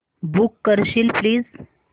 book करशील please